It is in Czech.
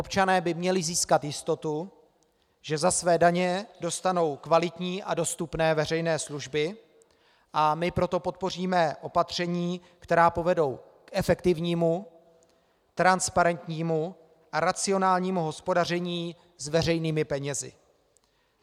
Občané by měli získat jistotu, že za své daně dostanou kvalitní a dostupné veřejné služby, a my proto podpoříme opatření, která povedou k efektivnímu, transparentnímu a racionálnímu hospodaření s veřejnými penězi.